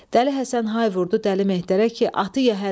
Dəli Həsən hay vurdu Dəli Mehdərə ki, atı yəhərə!